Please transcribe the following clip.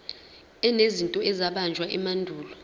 enezinto ezabunjwa emandulo